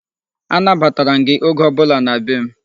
Anabatara m gị oge ọbụla na be m.